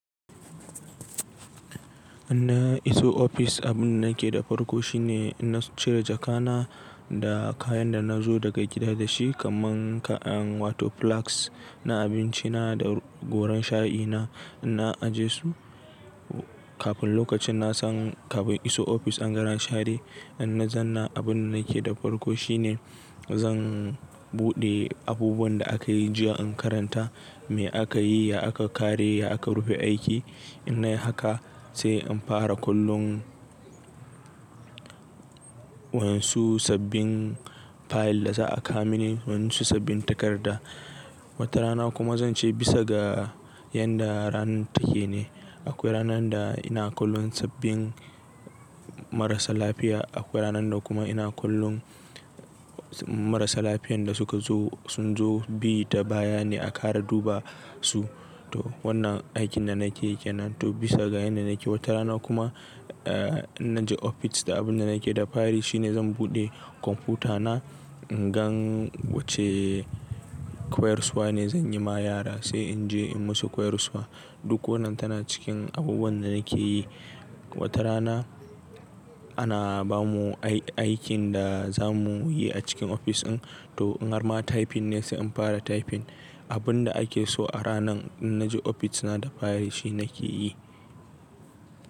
In na iso ofis, abin da nake da farko shine in na cire jaka na da kayan da nazo daga gida da shi kaman kayan wato filaks na abinci na da goran shayi na. Na aje su kafin lokacin na san kafin iso ofis an gama share. In na zanna abin da nake da farko shine zan buɗe abubuwan da akayi jiya in karanta. Me akayi, ya aka kare, ya aka rufe aiki. In nayi haka sai in fara kullum wa'insu sabbin fayil da za a ka mini, wasu sabbin takarda. Wata rana kuma zance bisa ga yanda ranar take ne. Akwai ranan da ina kullum sabbin marasa lafiya. Akwai ranan da kuma ina kullun marasa lafiyan da suka zo sun zo bi ta baya ne a kara duba su. To wannan aikin da nake yake nan. To bisa ga yanda nake. Wata rana kuma, eh in naje ofis da abin da nake da fari shine zan buɗe kwamfuta na, in gan wacce koyarswa ne zan yi ma yara sai in je in musu koyarswa. Duk wannan tana cikin abubuwan da nake yi. Wata rana ana bamu ai-aikin da za mu yi a cikin ofis din. To in har ma typing ne sai in fara typing. Abun da ake so a ranan in naje ofis na da fari shi nake yi.